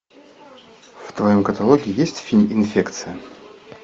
в твоем каталоге есть фильм инфекция